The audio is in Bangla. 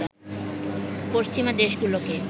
পশ্চিমা দেশগুলোকে